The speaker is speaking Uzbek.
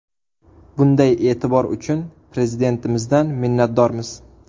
Bunday e’tibor uchun Prezidentimizdan minnatdormiz.